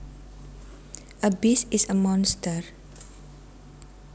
A beast is a monster